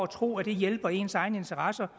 tror det hjælper ens egne interesser